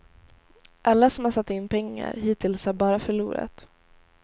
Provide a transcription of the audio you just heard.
Alla som har satt in pengar hittills har bara förlorat.